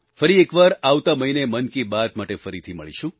ફરી એકવાર આવતા મહીને મન કી બાત માટે ફરીથી મળીશું